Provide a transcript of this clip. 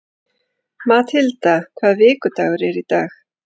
Mathilda, hvaða vikudagur er í dag?